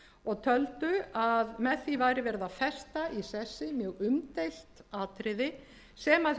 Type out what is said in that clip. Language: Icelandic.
og töldu að með því væri verið að festa í sessi mjög umdeilt atriði sem hefur